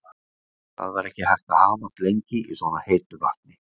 Það var ekki hægt að hamast lengi í svona heitu vatni.